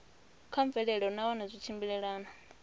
kha mvelelo nahone zwi tshimbilelana